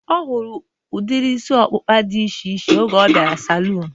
Ọ fụrụ udiri isi ọkpụkpa dị iche iche oge ọ bịara saluun